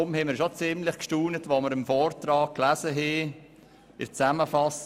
Deshalb waren wir schon ziemlich erstaunt, als wir im Vortrag lasen: